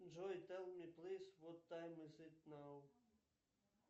джой тел ми плиз вот тайм из ит нау